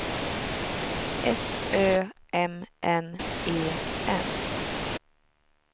S Ö M N E N